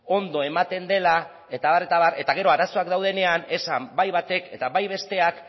ondo ematen dela eta abar eta gero arazoak daudenean bai batek eta bai besteak